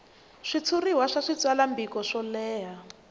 switshuriwa swa switsalwambiko swo leha